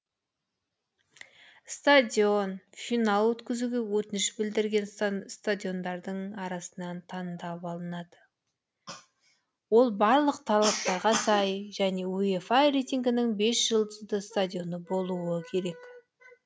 стадион финал өткізуге өтініш білдірген стадиондардың арасынан таңдап алынады ол барлық талаптарға сай және уефа рейтингінің бес жұлдызды стадионы болу керек